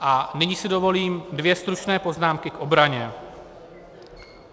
A nyní si dovolím dvě stručné poznámky k obraně.